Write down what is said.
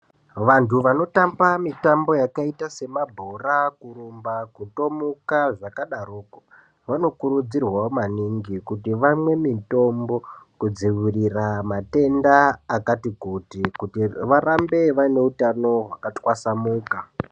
Vantu vanotamba mitambo yakaita semabhora, kurumba, kutomuka zvakadaroko, vanokurudzirwawo maningi kuti vamwe mitombo kudziwirira matenda akati kuti, kuti varambe vaine utano hwakatwasamuka.